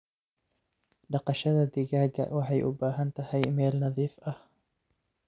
Dhaqashada digaaga waxay u baahan tahay meel nadiif ah.